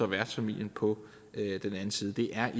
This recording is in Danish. værtsfamilien på den anden side det er